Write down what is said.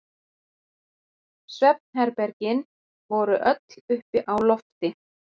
Svefnherbergin voru öll uppi á lofti.